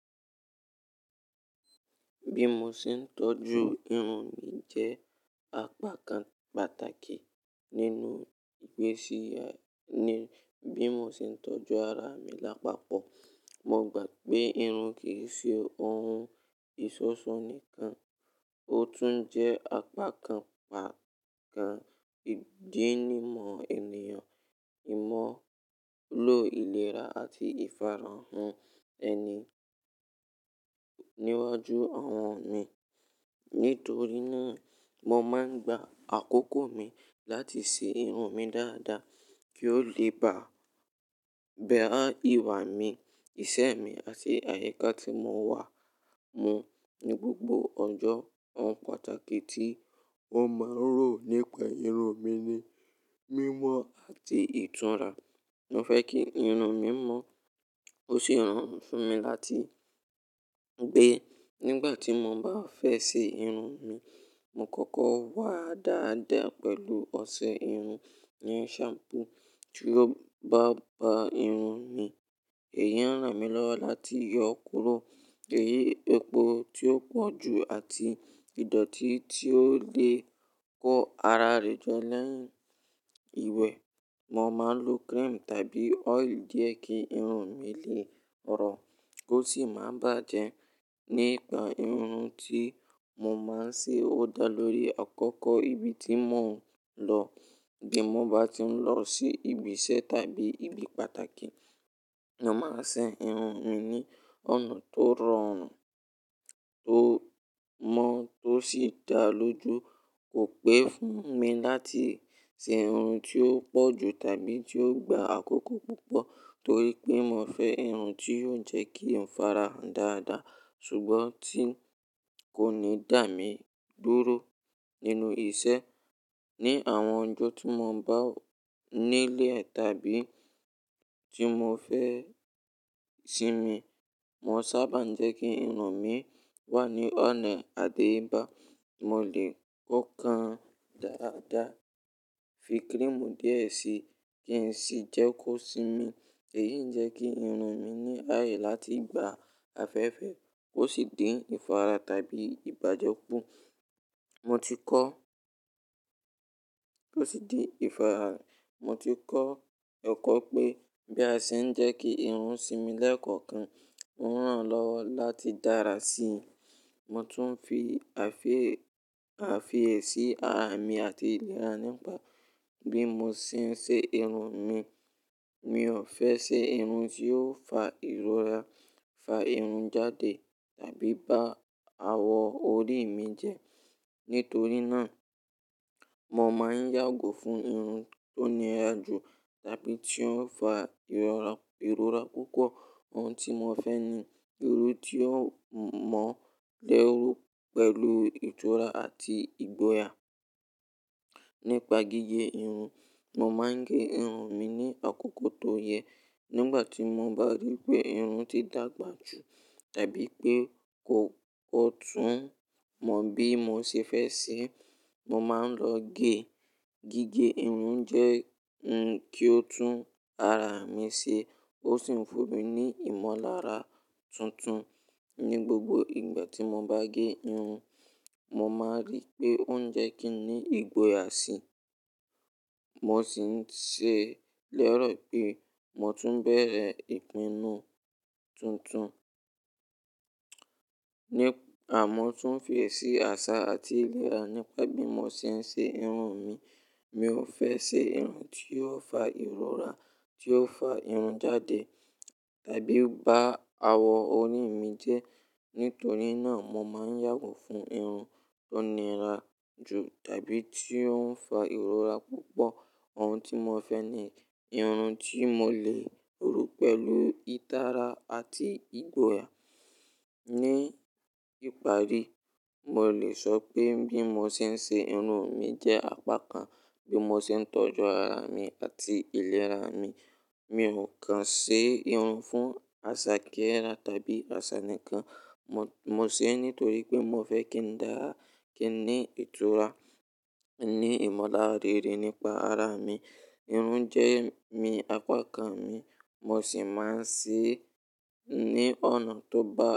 Bí mo ṣe ń tọ́jú irun mi jẹ́ àpakàn pàtàkì nínú ìgbésí ayé ní bí mo ṣe ń tọ́jú ara mi lápapọ̀. Mo gbà pé irun kì í ṣe ohun ìṣọ́ṣọ́ nìkan, ó tún jẹ́ àpakàn pàtàkì ìdínimọ̀ ènìyàn, ìmọ́lò ìlera àti ìfarahàn ẹni níwájú àwọn mi. Nítorí náà, mo máa ń gba àkókò mi láti ṣe irun mi dáadáa kí ó le bà, bẹ̀rẹ̀ ìwà mi, ìṣe mi àti àyíká tí mo wà mú ní gbogbo ọjọ́. Ohun pàtàkì tí mo máa ń rò nípa irun mi ni mímọ́ àti ìtúnra. Mo fẹ́ kí irun mi mọ́, ó sì ran fún mi láti gbé. Nígbà tí mo bá fẹ́ ṣe irun mi, mo kọ́kọ́ wá dáadáa pẹ̀lú ọṣẹ irun, yẹn shampoo tí ó bá ba irun mi. Èyí ń ran mi lọ́wọ́ láti yọ kúrò èyí epo tí ó pọ̀ ju àti ìdọ̀tí tí ó lè kó ara rẹ̀ jọ lẹ́yìn ìwẹ̀. Mo máa ń lo cream tàbí oil díẹ̀ kí irun mi lè rọ, ó sì máa bàjẹ́. Nípa irun tí mo máa ń ṣe ó dá lórí àkókò ibi tí mò ń lọ. Bí mo bá tí ń lọ sí ibi iṣẹ́ tàbí ibi pàtàkì, mo máa ṣe irun mi ní ọ̀nà tó rọrùn, tó mọ́, tó sì dáa lójo. Kò pé fún mi láti ṣe irun tí ó pọ̀ ju tàbí tí ó gba àkókò púpọ̀ torí pé mo fẹ́ irun tí yóò jẹ́ kí n farahàn dáadáa ṣùgbọ́n tí kò ní dà mí dúró nínú ìṣe. Ni àwọn ọjọ́ tí mo bá nílé tàbí tí mo fẹ́ sinmi, mo sábà ń jẹ́ kí irun mi wà ní ọ̀nà àdéyébá. Mo lè kó kan dáadáa, fi cream díẹ̀ síi kí ń sì jẹ́ kó sinmi. Èyí ń jẹ́ kí irun mi ní ààyè láti gba afẹ́fẹ́, ó sì dín ìfarahàn tàbí ìbájọ́kù. Mo ti kọ́, ó sì dín ìfarahàn. Mo ti kọ́ ẹ̀kọ́ pé bí a ṣe ń jẹ́ kí irun sinmi lẹ́ẹ̀kọ̀kan, ó ń ran lọ́wọ́ láti dára sí i. Mo tún ń fi àfiẹ̀, àfiẹ̀ sí ara mi àti ìlera nípa bí mo ṣe ń ṣe irun mi. Mi ò fẹ́ ṣe irun tí yóò fa ìrora, fa irun jáde tàbí bá awọ orí mi jẹ. Nítorí náà, mo máa ń yàgò fún irun tó níra jù tàbí tí ó ń fa ìrọra, ìrora púpọ̀. Ohun tí mo fẹ́ ni irun tí ó mọ́lẹ́rú pẹ̀lú ìtura àti ìgboyà. Nípa gígé irun, mo máa ń gé irun mi ní àkókò tó yẹ. Nígbà tí mo bá rí pé irun ti dàgbà jù tàbí pé kò, kò tún mọ bí mo ṣe fẹ́ ṣe, mo máa ń lọ gé. Gígé irun jẹ́ ń kí ó tún ara mi ṣe, ó sì ń fún mi ní ìmọ̀lára tuntun. Ni gbogbo ìgbà tí mo bá gé irun, mo máa rí pé ó ń jẹ́ kí ni ìgboyà sì i. Mo sì ń ṣe lẹ́rọ̀ bí mo tún bẹ̀rẹ̀ ìpinnu tuntun. Ni, àmọ́ tún fi èsì àṣà àti ìlera nípa bí mo ṣe ń ṣe irun mi. Mi ò fẹ́ ṣe irun tí yóò fa ìrora, tí ó fa irun jáde tàbí bá awọ orí mi jẹ. Nítorí náà, mo máa ń yàgò fún irun tó níra jù tàbí tí ó ń fa ìrora púpọ̀. Ohun tí mo fẹ́ ni irun tí mo lè ru pẹ̀lú ìtara àti ìgboyà. Ní ìparí, mo lè sọ pé bí mo ṣe ń ṣe irun mi jẹ́ àpakàn bí mo ṣe ń tọ́jú ara mi àti ìlera mi. Mi ò kan ṣe irun fún àṣà kíára tàbí àṣà nìkan. Mo, mo ṣe é nítorí pé mo fẹ́ kí n dára, kí n ní ìtura, ní ìmọ̀lára rere nípa ara mi. Irun jẹ́ mi, àpakàn mi, mo sì máa ń ṣe é ní ọ̀nà tó bá.